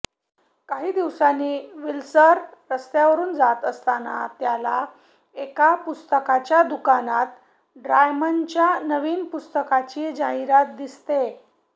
काही दिवसांनी विस्लर रस्त्यावरून जात असताना त्याला एका पुस्तकाच्या दुकानात ड्रेयमानच्या नवीन पुस्तकाची जाहिरात दिसते